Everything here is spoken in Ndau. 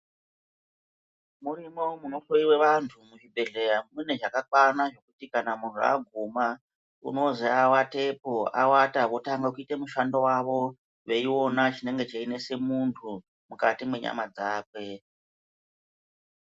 Murimo munohloyiwa vantu muzvibhedhlera mune zvakakwana zvekuti kana muntu abvuma unonzi avatepo avata votange kuite mushando wavo veiona chinenge cheinetse muntu mukati menyama dzake.